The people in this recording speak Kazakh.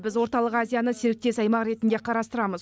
біз орталық азияны серіктес аймақ ретінде қарастырамыз